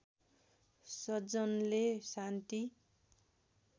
सज्जनले शान्ति